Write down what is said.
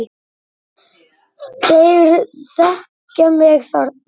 Þeir þekkja mig þarna.